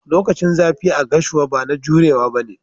Lokacin zafi a gashua bana jurewa ba ne.